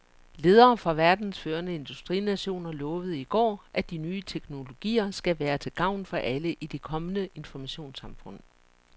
Ledere fra verdens førende industrinationer lovede i går, at de nye teknologier skal være til gavn for alle i det kommende informationssamfund.